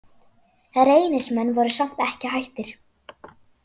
Reynismenn voru samt ekki hættir.